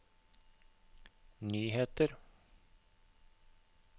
nyheter